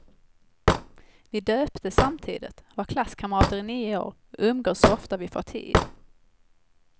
Vi döptes samtidigt, var klasskamrater i nio år och umgås så ofta vi får tid.